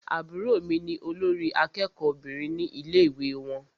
Àbúrò mí ní olórí àkẹ́kọ̀ọ Obìnrin ní ilé ìwé wọn.